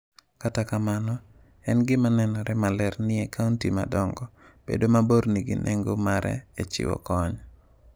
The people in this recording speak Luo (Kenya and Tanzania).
Kata kamano, en gima nenore maler niE kaunti madongo, bedo mabor nigi nengo mare e chiwo kony.